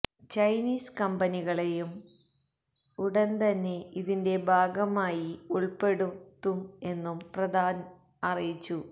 Chinese കമ്പനികളേയും ഉടന്തന്നെ ഇതിന്റെ ഭാഗമായി ഉള്പ്പെടുത്തും എന്നും പ്രധാന് അറിയിച്ചു